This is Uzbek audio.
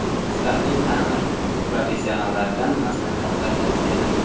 Sifatli ta’mir: professionallardan maslahat va tavsiyalar.